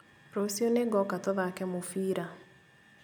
Rũciũ nĩngoka tũthake mũbira